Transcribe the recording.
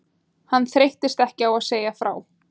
Hann þreyttist ekki á að segja frá